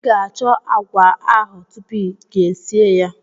I ga-achọ agwa ahụ tupu gi esie ya.